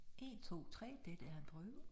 1 2 3 dette er en prøve